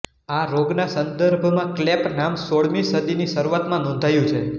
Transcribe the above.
આ રોગના સંદર્ભમાં ક્લૅપ નામ સોળમી સદીની શરૂઆતમાં નોંધાયું છે